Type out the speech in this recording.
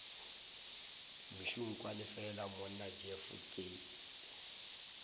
mešunkwane fela monna jeff ke